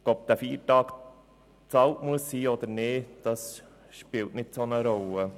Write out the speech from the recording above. Ob der Feiertag bezahlt werden muss oder nicht, spielt keine so grosse Rolle.